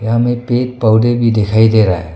यहाँ में पेड़ पौधे भी दिखाई दे रहा है।